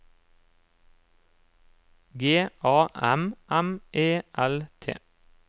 G A M M E L T